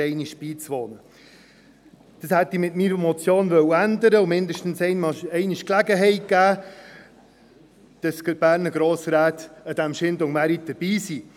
Dies hätte ich mit meiner Motion ändern und den Berner Grossräten einmal die Gelegenheit geben wollen, am Chaindon-Markt dabei zu sein.